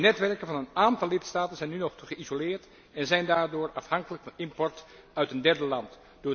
De netwerken van een aantal lidstaten zijn nu nog te geïsoleerd en zijn daardoor afhankelijk van import uit derde landen.